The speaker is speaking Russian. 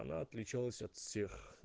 она отличалась от всех